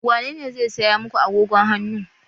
Wanene zai saya muku agogon hannu?